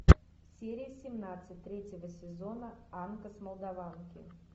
серия семнадцать третьего сезона анка с молдаванки